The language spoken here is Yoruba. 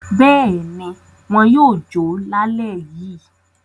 Bẹ́ẹ̀ ni, wọn yóò jó lálẹ́ yìí.